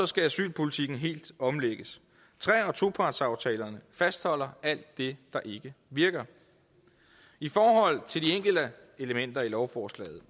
skal asylpolitikken helt omlægges tre og topartsaftalerne fastholder alt det der ikke virker i forhold til de enkelte elementer i lovforslaget